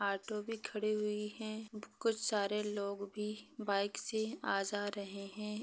Auto भी खड़ी हुई है कुछ सारे लोग भी बाइक से आ जा रहे है।